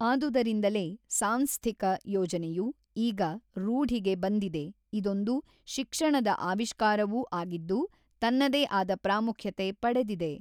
ಆದುದರಿಂದಲೇ ಸಾಂಸ್ಥಿಕ ಯೋಜನೆಯು ಈಗ ರುಢಿಗೆ ಬಂದಿದೆ ಇದೊಂದು ಶಿಕ್ಷಣದ ಆವಿಷ್ಕಾರವೂ ಆಗಿದ್ದು ತನ್ನದೆ ಆದ ಪ್ರಾಮುಖ್ಯತೆ ಪಡೆದಿದೆ.